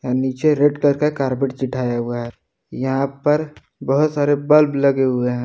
नीचे red colour का carpet जिताया हुआ है यहां पर बहुत सारे बल्ब लगे हुए हैं।